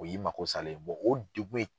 O y'i mako salen ye o ye degun ye.